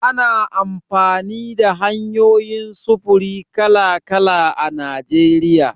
Ana amfani da hanyoyin sufuri kala-kala a Najeriya.